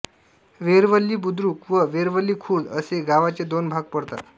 वेरवली बुद्रुक व वेरवली खुर्द असे गावाचे दोन भाग पडतात